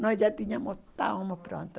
Nós já tínhamos, estávamos prontos.